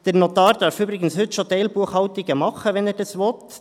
Der Notar darf übrigens heute schon Teilbuchhaltungen machen, wenn er das will.